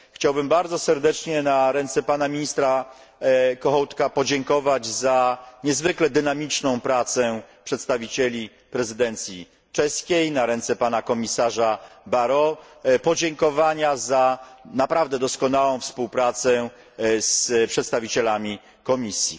Chciałbym bardzo serdecznie na ręce pana ministra Kohouta podziękować za niezwykle dynamiczną pracę przedstawicieli prezydencji czeskiej, a na ręce pana komisarza Barrot podziękowania za naprawdę doskonałą współpracę z przedstawicielami Komisji.